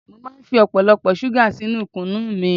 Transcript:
Mo máa ń fi ọ̀pọ̀lọpọ̀ ṣúgà sínú kunu mi